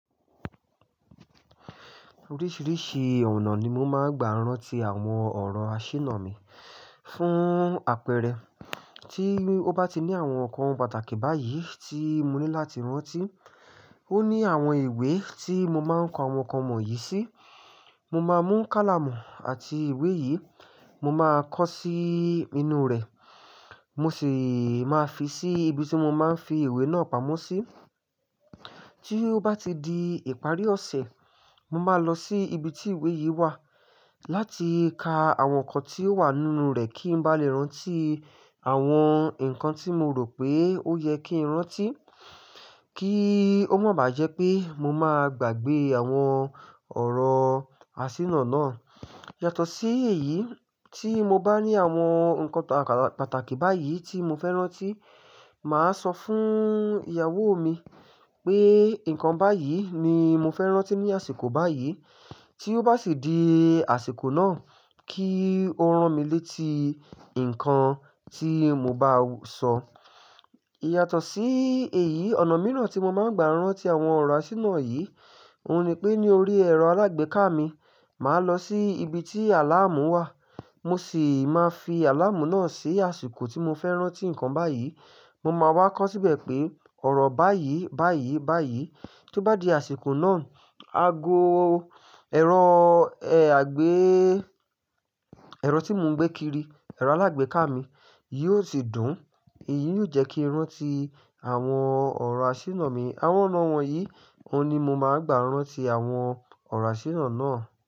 Oríṣìíríṣìí ọ̀nà ni mo máa ń gba rán tí àwọn ọ̀rọ̀ àṣìná mi. Fún àpẹẹrẹ, tí ó bá ti ní àwọn nǹkan pàtàkì báyìí tí mo ní láti rántí, ó ní àwọn ìwé tí mo máa ń ko àwọn nǹkan wọ̀nyí sí. Mo máa mú kálàmù àti ìwé yìí, mo máa kọ sí inú rẹ̀, mo sì máa fi sí ibi tí mo máa ń fi ìwé náà pamọ́ sí. Tí ó bá ti di ìparí ọ̀sẹ̀, mo máa lọ sí ibi tí ìwé yìí wà láti ka àwọn nǹkan tí ó wà nínú rẹ̀ kí n bá lè rántí àwọn nǹkan tí mo rò pé ó yẹ kí n rántí kí ó máa ba jẹ́ pé mo máa gbàgbé àwọn ọ̀rọ̀ àṣìná náà. Yàtọ̀ sí èyí, tí mo bá ní àwọn nǹkan pàtàkì báyìí tí mo fẹ́ rántí, màá sọ fún ìyàwó mi pé nǹkan báyìí ni mo fẹ́ rántí ní àsìkò báyìí. Tí ó bá sì di àsìkò náà kí ó rán mi létí nǹkan tí mo bá sọ. Yàtọ̀ sí èyí, ọ̀nà mìíràn tí mo máa ń gba rán tí àwọn ọ̀rọ̀ àṣìná yìí, òun ni pé ní orí ẹ̀rọ alágbèéká mi, màá lọ sí ibi tí àláàmù wà, mo sì máa fi àláàmù náà sí àsìkò tí mo fẹ́ rántí nǹkan báyìí. Mo máa wá kọ́ síbẹ̀ pé ọ̀rọ̀ báyìí, báyìí, báyìí. Tí ó bá di àsìkò náà, ago ẹ̀rọ ẹ àgbé-- ẹ̀rọ tí mo ń gbé kiri, ẹ̀rọ alágbèéká mi yìí ó sì dùn. Èyí yóò jẹ́ kí n rántí àwọn ọ̀rọ̀ àṣìná mi. Àwọn ọ̀nà wọ̀nyí ni mo máa ń gba rán tí àwọn ọ̀rọ̀ àṣìná náà.